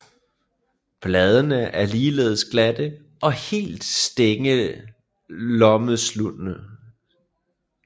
Bladene er ligeledes glatte og helt stængelomsluttende